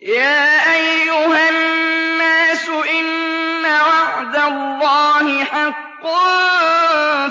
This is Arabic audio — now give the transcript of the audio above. يَا أَيُّهَا النَّاسُ إِنَّ وَعْدَ اللَّهِ حَقٌّ ۖ